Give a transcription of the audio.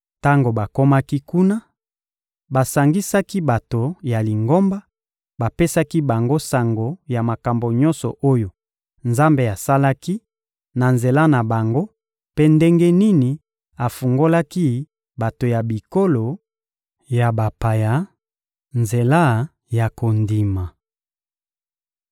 Tango bakomaki kuna, basangisaki bato ya Lingomba, bapesaki bango sango ya makambo nyonso oyo Nzambe asalaki na nzela na bango mpe ndenge nini afungolelaki bato ya bikolo ya bapaya nzela ya kondima.